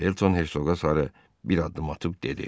Felton Hersoqa sarı bir addım atıb dedi.